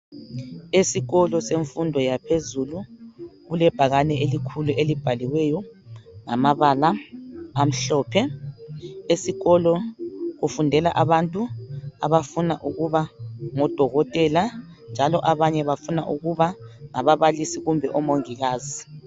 Esikolo semfundo yaphezulu kulebhakani elikhulu elibhaliweyo ngamabala amhlophe. Esikolo kufundela abantu abafuna ukuba ngodokotela njalo abanye bafuna ukuba ngababalisi kumbe omongikazi.